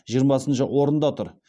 жиырмасыншы орында тұр